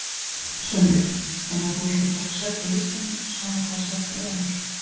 Sölvi: Þannig að þú ætlar að taka sæti á listanum sama hvaða sæti það verður?